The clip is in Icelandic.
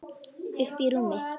Uppí rúmi.